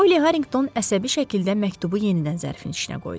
Polli Harriqton əsəbi şəkildə məktubu yenidən zərfin içinə qoydu.